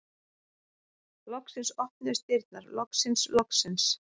Loksins opnuðust dyrnar, loksins, loksins!